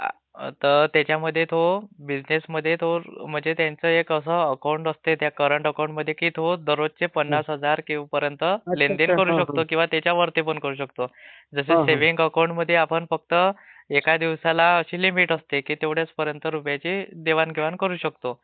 तर त्याच्यामध्ये तो बिझनेस मध्ये तो म्हणजे त्याचं एक असं अकाउंट असते त्या करंट अकाउंटमध्ये की तो दररोज चे पन्नास हजार पर्यंत लेन्देन करू शक्तो किंवा त्याच्यापेक्षा जास्त सुद्धा करू शकतो. जस सेविंग अकाउंटमध्ये आपण फक्त एक दिवसाला अशी लिमिट असते की तेवढ्याच पर्यंत रुपयांची देवाण घेवाण करू शकतो.